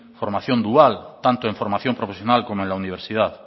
formación dual tanto en formación profesional como en la universidad